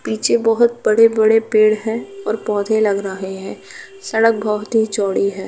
पीछे बहोत बड़े-बड़े पेड़ हैं और पौधे लग रहे है। सड़क बहोत ही चौड़ी है।